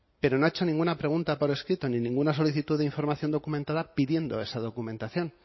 pero no ha hecho ninguna pregunta por escrito ni ninguna solicitud de información documentada pidiendo esa documentación